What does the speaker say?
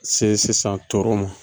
Se sisan toro ma